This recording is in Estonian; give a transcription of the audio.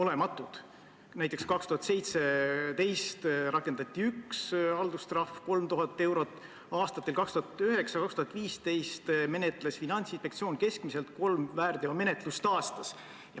Näiteks, aastal 2017 rakendati ühte haldustrahvi, 3000 eurot, aastatel 2009–2015 menetles Finantsinspektsioon keskmiselt kolme väärteomenetlust aastas.